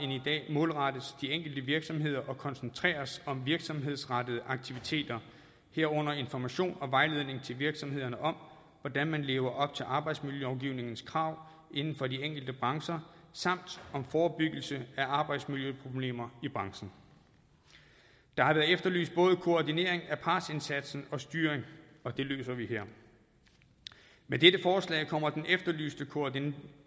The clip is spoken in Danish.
målrettes de enkelte virksomheder og koncentreres om virksomhedsrettede aktiviteter herunder information og vejledning til virksomhederne om hvordan man lever op til arbejdsmiljølovgivningens krav inden for de enkelte brancher samt om forebyggelse af arbejdsmiljøproblemer i branchen der har været efterlyst både koordinering af partsindsatsen og styring og det løser vi her med dette forslag kommer den efterlyste koordinering